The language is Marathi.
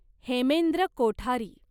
हेमेंद्र कोठारी